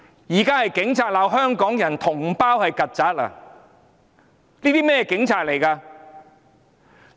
現在是警察罵香港人、同胞是"曱甴"，這是甚麼警察？